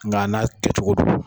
Nga a na kɛcogo don.